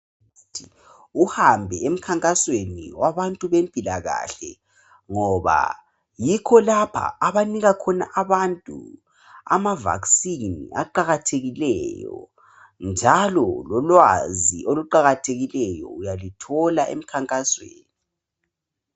Kuqakathekile ukuthi uhambe emkhankasweni wabantu bempilakahle, ngoba yikho lapha abanika khona abantu amavaksini aqakathekileyo, njalo lolwazi oluqakathekileyo uyaluthola emkhankasweni.